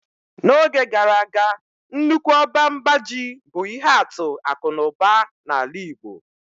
N'oge gara aga nnukwu ọba mba ji bụ ihe atụ akụ na ụba na ala igbo.